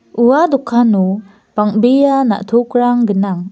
ua dokano bang·bea na·tokrang gnang.